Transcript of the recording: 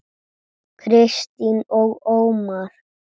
Kristín og Ómar.